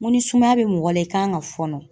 N ko ni sumaya be mɔgɔ la i kan ka fɔɔnɔ